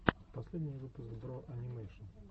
последний выпуск бро анимэйшн